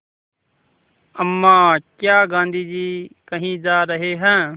अम्मा क्या गाँधी जी कहीं जा रहे हैं